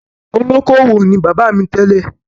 Olókoowò ni bàbá mi tẹ́lẹ̀.